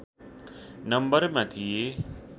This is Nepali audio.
नम्बरमा थिए